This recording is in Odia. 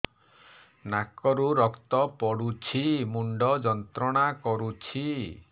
ନାକ ରୁ ରକ୍ତ ପଡ଼ୁଛି ମୁଣ୍ଡ ଯନ୍ତ୍ରଣା କରୁଛି